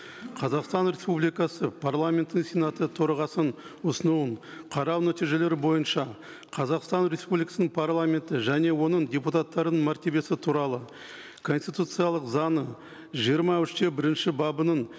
қазақстан республикасы парламентінің сенаты төрағасының ұсынуын қарау нәтижелері бойынша қазақстан республикасының парламенті және оның депутаттарының мәртебесі туралы конституциялық заңы жиырма үш те бірінші бабының